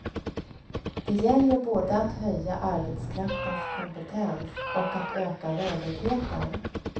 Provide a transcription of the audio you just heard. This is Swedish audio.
Det gäller både att höja arbetskraftens kompetens och att öka rörligheten.